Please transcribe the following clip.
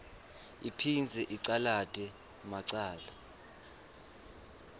iphindze icalate macala